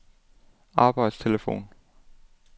arbejdstelefon